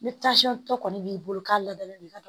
Ni tɔ kɔni b'i bolo k'a ladalen b'i ka